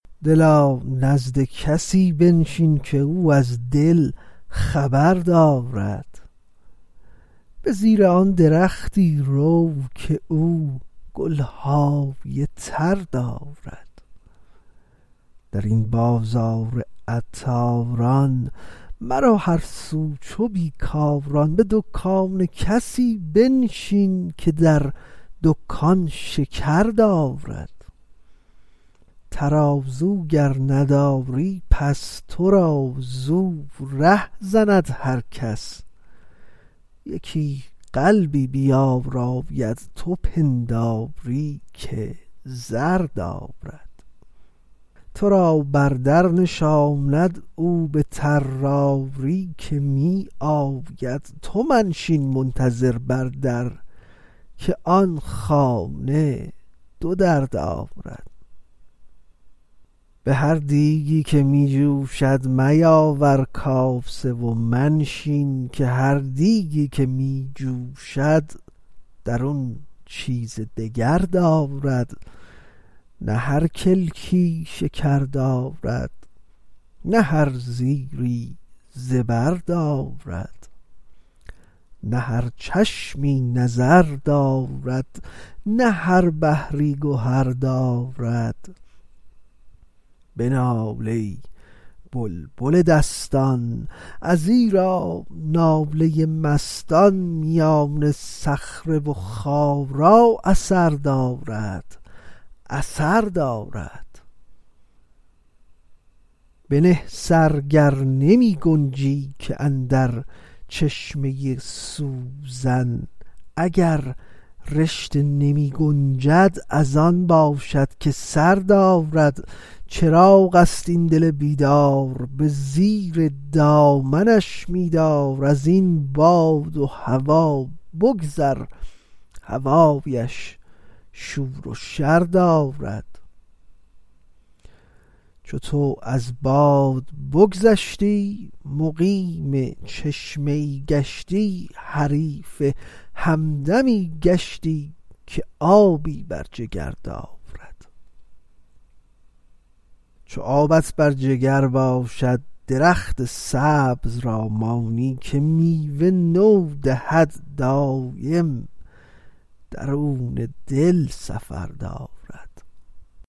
دلا نزد کسی بنشین که او از دل خبر دارد به زیر آن درختی رو که او گل های تر دارد در این بازار عطاران مرو هر سو چو بی کاران به دکان کسی بنشین که در دکان شکر دارد ترازو گر نداری پس تو را زو ره زند هر کس یکی قلبی بیاراید تو پنداری که زر دارد تو را بر در نشاند او به طراری که می آید تو منشین منتظر بر در که آن خانه دو در دارد به هر دیگی که می جوشد میاور کاسه و منشین که هر دیگی که می جوشد درون چیزی دگر دارد نه هر کلکی شکر دارد نه هر زیری زبر دارد نه هر چشمی نظر دارد نه هر بحری گهر دارد بنال ای بلبل دستان ازیرا ناله مستان میان صخره و خارا اثر دارد اثر دارد بنه سر گر نمی گنجی که اندر چشمه سوزن اگر رشته نمی گنجد از آن باشد که سر دارد چراغ است این دل بیدار به زیر دامنش می دار از این باد و هوا بگذر هوایش شور و شر دارد چو تو از باد بگذشتی مقیم چشمه ای گشتی حریف همدمی گشتی که آبی بر جگر دارد چو آبت بر جگر باشد درخت سبز را مانی که میوه نو دهد دایم درون دل سفر دارد